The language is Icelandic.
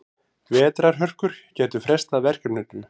Vetrarhörkur gætu frestað verkefninu.